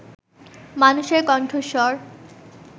মানুষের কণ্ঠস্বর